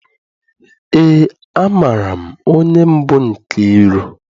Eé, amaara m onye bụ Nkeiru.